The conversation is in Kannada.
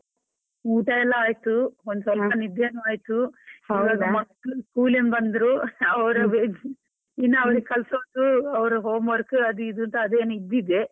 ಊಟ ಎಲ್ಲ ಆಯ್ತು, ಒಂದ್ ಸ್ವಲ್ಪ ನಿದ್ದೆನೂ ಆಯ್ತು, ಇವಾಗ್ ಮಕ್ಕಳು school ಇಂದ ಬಂದ್ರು, ಅವ್ರ ಇನ್ನಾ ಅವ್ರಿಗೆ ಕಲಸೋದು ಅವ್ರ home work ಅದು ಇದು ಅಂತ ಅದೇ .